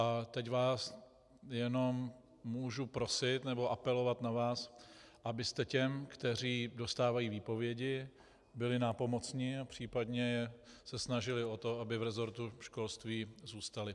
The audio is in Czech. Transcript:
A teď vás jenom můžu prosit nebo apelovat na vás, abyste těm, kteří dostávají výpovědi, byli nápomocni a případně se snažili o to, aby v resortu školství zůstali.